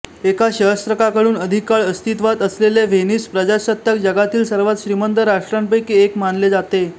एका सहस्त्रकाहून अधिक काळ अस्तित्वात असलेले व्हेनिस प्रजासत्ताक जगातील सर्वात श्रीमंत राष्ट्रांपैकी एक मानले जाते